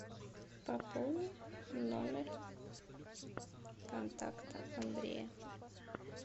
пополни номер контакта андрея